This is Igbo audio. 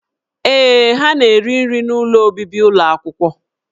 Ee, ha na-eri nri n'ụlọ obibi ụlọ akwụkwọ